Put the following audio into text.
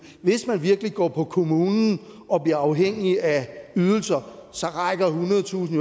hvis man virkelig går på kommunen og bliver afhængig af ydelser så rækker ethundredetusind